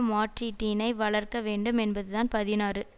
மாற்றீட்டினை வளர்க்கவேண்டும் என்பதுதான் பதினாறு